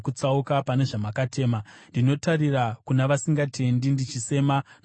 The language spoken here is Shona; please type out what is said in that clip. Ndinotarira kuna vasingatendi ndichisema, nokuti havateereri shoko renyu.